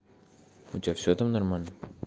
у тебя все там нормально